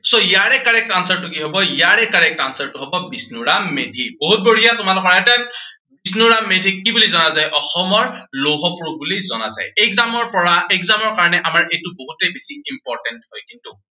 so ইয়াৰে correct answer টো কি হব, ইয়াৰে correct answer টো হব বিষ্ণুৰাম মেধি। বহুত বঢ়িয়া, তোমালোকে পাৰিছা। বিষ্ণুৰাম মাধিক কি বুলি জনা যায়, অসমৰ লৌহ পুৰুষ বুলি জনা যায়। exam ৰ পৰা exam ৰ কাৰনে এইটো বহুতেই বেছি important হয় কিন্তু।